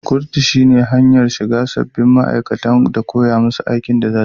kurutu shine hanyar shigarda sabbin ma aikata da koyamusu aikin da zasuyi.